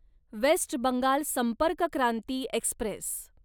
waste Bengal Sampark Kranti Express